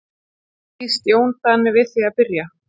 Býst Jón Daði við að byrja?